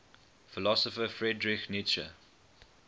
philosopher friedrich nietzsche